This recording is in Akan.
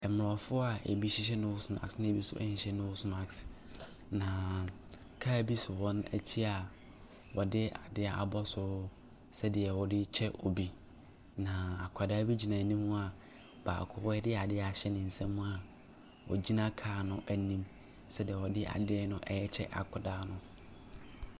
Mmorɔfo a ebi hyehyɛ nose marsk na ebi nso nhɛ nose marsk na car bi si wɔn akyi a wɔde ade abɔ so sɛdeɛ wɔde rekyɛ obi. Na akwadaa bi gyina anim a baako de adeɛ ahyɛ ne nsam a ogyina car no anim sɛdeɛ ɔde adeɛ no rekyɛ akwadaa no.